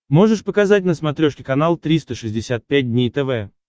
можешь показать на смотрешке канал триста шестьдесят пять дней тв